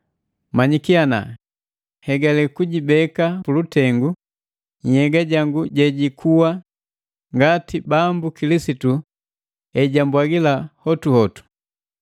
Manyiki ana hegale kujibeka pulutengu nhyega jangu jejikuwa, ngati Bambu Kilisitu ejambwagila hotuhotu.